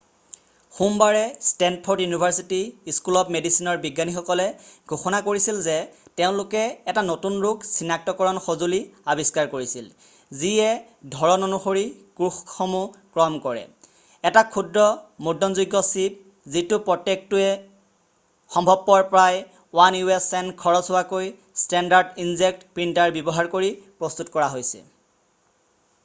সোমবাৰে Stanford University School of মেডিচিনৰ বিজ্ঞানীসকলে ঘোষণা কৰিছিল যে তেওঁলোকে এটা নতুন ৰোগ চিনাক্তকৰণ সঁজুলি আৱিষ্কাৰ কৰিছিল যিয়ে ধৰণ অনুসৰি কোষসমূহ ক্ৰম কৰে এটা ক্ষুদ্ৰ মুদ্ৰণযোগ্য চিপ যিটো প্ৰত্যেকটোতে সম্ভৱপৰ প্ৰায় 1 u.s. চেণ্ট খৰচ হোৱাকৈ ষ্টেণ্ডাৰ্ড ইনজেক্ট প্ৰিণ্টাৰ ব্যৱহাৰ কৰি প্ৰস্তুত কৰা হৈছে